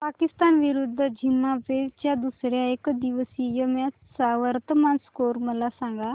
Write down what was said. पाकिस्तान विरुद्ध झिम्बाब्वे च्या दुसर्या एकदिवसीय मॅच चा वर्तमान स्कोर मला सांगा